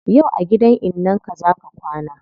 Yau a gidan innan ka zaa ka kwana